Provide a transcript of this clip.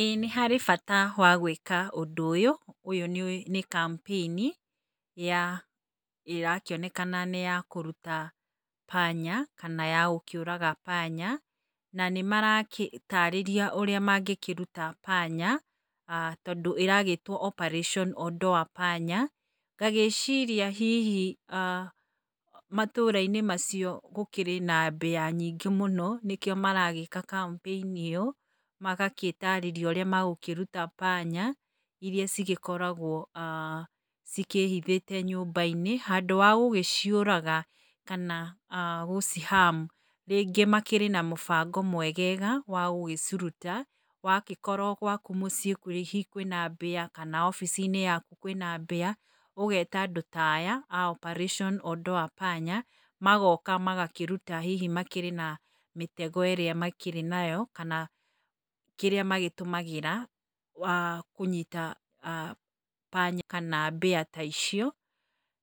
Ĩĩ nĩ harĩ bata wa gwĩka ũndũ ũyũ, ũyũ nĩ campaign ya ĩrakĩonekana nĩ ya kũruta panya kana ya gũkĩũraga panya. Na nĩ marataarĩria ũrĩa mangĩkĩruta panya tondũ ĩragĩtwo Operation Ondoa Panya. Ngagĩciria hihi matũra-inĩ macio gũkĩrĩ na mbĩa nyingĩ mũno nĩkĩo maragĩka campaign ĩyo, magagĩtaarĩria ũrĩa megũkĩruta panya irĩa cigĩkoragwo cikĩhithĩte nyũmba-inĩ. Handũ ha gũgĩciũraga kana gũgĩci harm rĩngĩ makĩrĩ na mũbango mwegega wa gũgĩciruta. Wagĩkorwo gwaku mũciĩ hihi kwĩna mbĩa kana wabici-inĩ yaku kwĩna mbĩa, ũgeta andũ ta aya a Operation Ondoa Panya magoka magakĩruta. Hihi makĩrĩ na mĩtego ĩrĩa makĩrĩ nayo kana kĩrĩa magĩtũmagĩra kũnyita panya kana mbĩa ta icio,